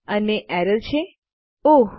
અને એરર છે ઓહ